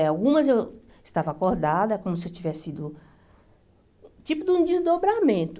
Algumas eu estava acordada, como se eu tivesse sido... Tipo de um desdobramento.